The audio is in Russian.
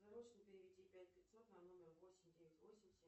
срочно переведи пять пятьсот на номер восемь девять восемь семь